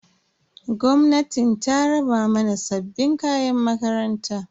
Gwamnatin ta raba mana sabbin kayan makaranta.